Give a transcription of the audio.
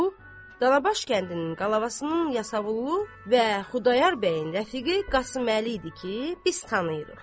Bu Danabaş kəndinin qalavasının Yasavullu və Xudayar bəyin rəfiqi Qasımlı idi ki, biz tanıyırıq.